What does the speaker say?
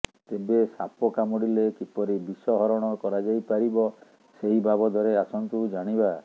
ତେବେ ସାପ କାମୁଡିଲେ କିପରି ବିଷ ହରଣ କରାଯାଇ ପାରିବ ସେହି ବାବଦରେ ଆସନ୍ତୁ ଜାଣିବା